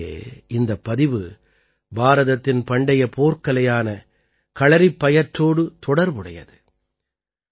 உள்ளபடியே இந்தப் பதிவு பாரதத்தின் பண்டைய போர்க்கலையான களறிப்பாயட்டோடு தொடர்புடையது